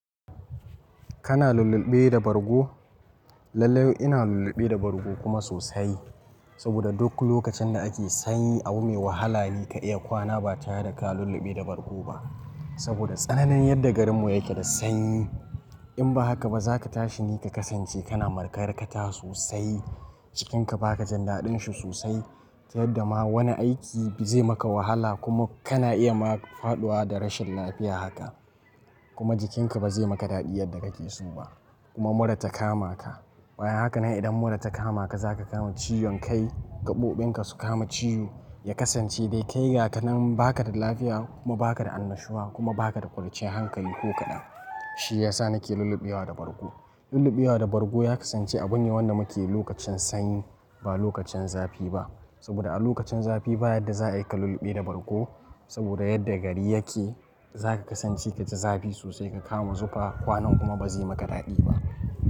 Kana lulluɓe da bargo? Lallai ina lulluɓe da bargo kuma sosai. Saboda duk lokacin da ake sanyi abu mai wahala ne ka iya kwana ba tare da ka lulluɓe da bargo ba. Saboda tsananin yadda garinmu yake da sanyi. In ba haka ba za ka tashi ni ka kasance kana makarkata sosai, jikinka baka jandaɗin shi sosai. Ta yadda ma wani aiki zai maka wahala kuma kana iya ma faɗuwa da rashin lafiya haka. Kuma jikinka ba zai maka daɗi yadda kake so ba. Kuma mura ta kama ka. Bayan haka nan idan mura ta kama ka, za ka kama ciwon kai, gaɓoɓinka su kama ciwo, ya kasance dai kai ga ka nan baka da lafiya kuma baka da annashuwa kuma baka da ƙwanciyar hankali ko kaɗan. Shi ya sa nake lulluɓewa da bargo. Lulluɓewa da bargo ya kasance abun ne wanda muke yi lokacin sanyi ba lokacin zafi ba. Saboda a lokacin zafi ba yadda za a yi ka lulluɓe da bargo. Saboda yadda gari yake, za ka kasance ka ji zafi sosai ka kama zufa kwanan kuma ba zai maka daɗi ba.